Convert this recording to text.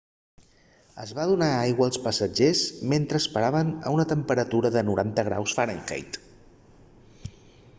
es va donar aigua als passatgers mentre esperaven a una temperatura de 90 graus f